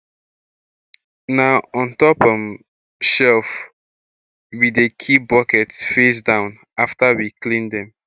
na on um top shelf um we dey keep buckets face um down afta we clean dem